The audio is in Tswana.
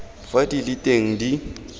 fa di le teng di